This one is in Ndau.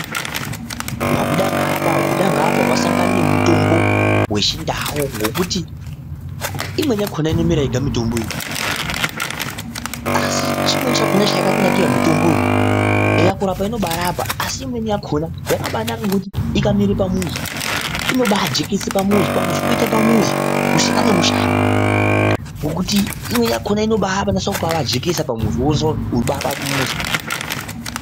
Wabuda ngaapa, wabuda ngaapa wasangane nemutombo wechindau ngokuti imweni yakona inomera yega mitombo iyi asi chimweni chakona chayakanira mitombo yo eya kurapa inoba yarapa asi imweni yakano yakabaanaka ngokuti ikamera pamuzi inobaajekese pamuzi pamuzi poita pamuzi kusiyana nemushango ngokuti imweni yakona inobaapajekesa pamuzi wobaite muzi.